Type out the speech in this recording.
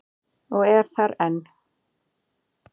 Og er þar enn.